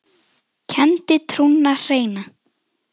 kenndi trúna hreina.